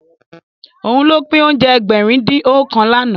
Òun ló pín oúnjẹ Ẹgbẹ̀rin-dín-ọ̀kan lánàá